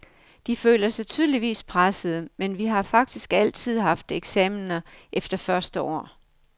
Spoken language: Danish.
De føler sig tydeligvis pressede, men vi har faktisk altid haft eksaminer efter første år.